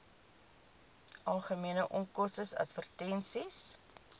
algemene onkoste advertensies